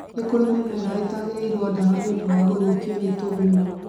Nĩkũri mĩmera ĩitagĩrĩrio dawa nĩ ũndũ wa gũthũkio nĩ tũgunyũ